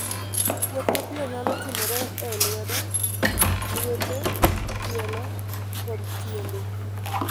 Kuot mapiyo nyalo timore e lwedo, lwete, tielo, kod tiende.